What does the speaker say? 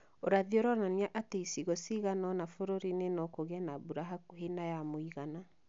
Ũrathi ũronania atĩ icigo cigana ũna bũrũri-inĩ no kũgĩe na mbura hakuhĩ na ya mũigana